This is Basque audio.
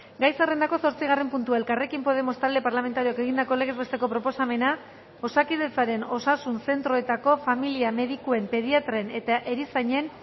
gai zerrendako zortzigarren puntua elkarrekin podemos talde parlamentarioak egindako legez besteko proposamena osakidetzaren osasun zentroetako familia medikuen pediatren eta erizainen